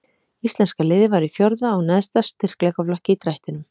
Íslenska liðið var í fjórða og neðsta styrkleikaflokki í drættinum.